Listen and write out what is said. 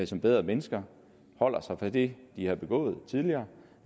som bedre mennesker holder sig fra det de har begået tidligere